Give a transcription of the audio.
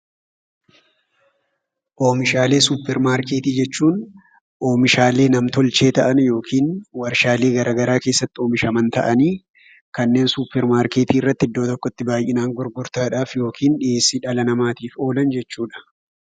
Oomishaalee suuparmarkeetii jechuun oomishaalee namtolchee ta'anii yookin warshaalee garaa garaa keessatti oomishaman ta'anii kanneen suuparmarkeetii irratti iddoo tokkotti baayyinaan gurgurtaadhaaf yookin dhiyeeessii dhala namaatiif oolan jechuudha.